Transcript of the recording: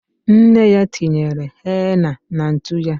Nne ya tinyere henna na ntu ya.